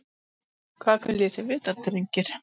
Hvað viljið þið vita drengir?